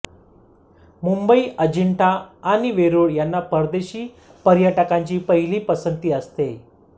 मुंबई अजिंठा आणि वेरूळ यांना परदेशी पर्यटकांची पहिली पसंती असते